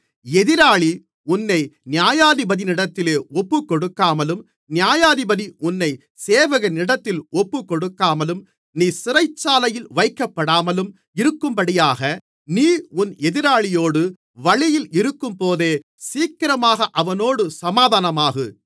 எதிராளி உன்னை நியாயாதிபதியினிடத்தில் ஒப்புக்கொடுக்காமலும் நியாயாதிபதி உன்னைச் சேவகனிடத்தில் ஒப்புக்கொடுக்காமலும் நீ சிறைச்சாலையில் வைக்கப்படாமலும் இருக்கும்படியாக நீ உன் எதிராளியோடு வழியில் இருக்கும்போதே சீக்கிரமாக அவனோடு சமாதானமாகு